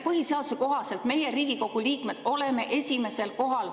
Põhiseaduse kohaselt meie, Riigikogu liikmed, oleme esimesel kohal.